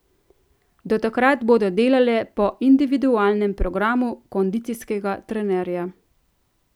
Do takrat bodo delale po individualnem programu kondicijskega trenerja.